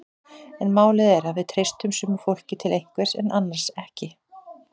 En málið er að við treystum sumu fólki til einhvers en annars ekki.